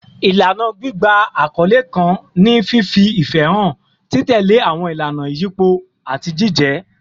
Ilana gbigba akọle kan ni fifi ifẹ han, titẹle awọn ilana iyipo, ati jijẹ